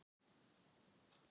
Það tókst og hann dreymdi.